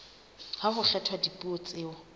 ha ho kgethwa dipuo tseo